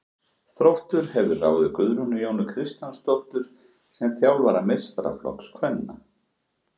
Þróttur hefur ráðið Guðrúnu Jónu Kristjánsdóttur sem þjálfara meistaraflokks kvenna.